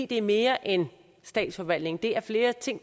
det er mere end statsforvaltningen der er flere ting